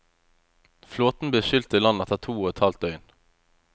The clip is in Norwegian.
Flåten ble skylt i land etter to og et halvt døgn.